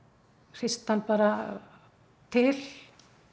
hristi hann bara til